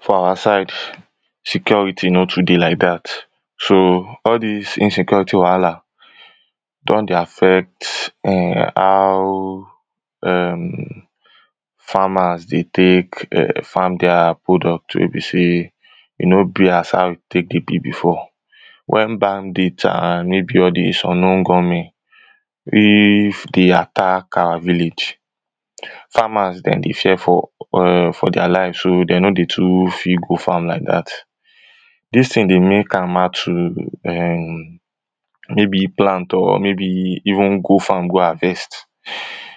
for our side security no too dey like dat so all dis insecurity wahala don dey affect how farmers dey take farm dia product wey be sey e no be as how e take dey be before wen bandit and maybe all dis unknown gunmen if dey attack our village farmers dem dey fear for dia life so dey no dey too fit go farm like dat dis ting dey make am hard to maybe plant or maybe even go farm go harvest